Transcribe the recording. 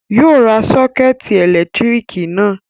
Yóò ra sọ́kẹ́tì ẹ̀lẹ́tíríkì náà